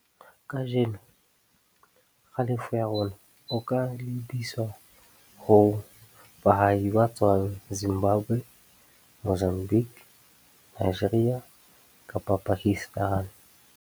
Kajeno, kgalefo ya rona o ka lebiswa ho baahi ba tswang Zimbabwe, Mozambique, Nigeria kapa Pakistan.